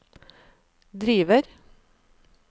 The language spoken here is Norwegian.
driver